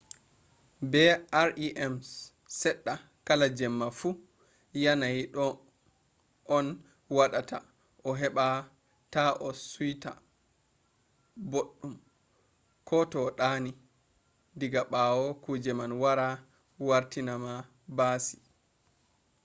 be rems seɗɗa kala jemma fu yanayi ɗo on waɗata a heɓa ta a suit aboɗɗum ko to a ɗani diga ɓawo kuje man wara wartinama baasi